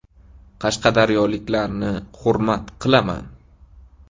Qashqadaryoliklarni hurmat qilaman.